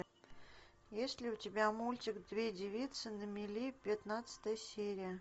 есть ли у тебя мультик две девицы на мели пятнадцатая серия